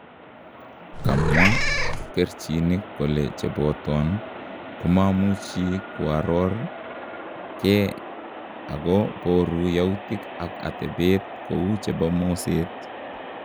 Kamwaa pkerichinik kole cheboton komamuchi koaror kee ako booru yautiik ak atebeet kou chebo moseet.